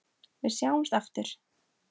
Við sjáumst aftur.